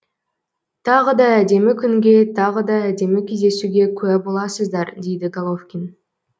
тағы да әдемі күнге тағы да әдемі кездесуге куә боласыздар дейді головкин